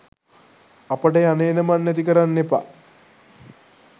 අපට යන එන මන් නැති කරන්න එපා.